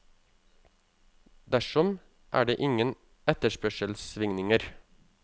Dersom, er det ingen etterspørselssvingninger.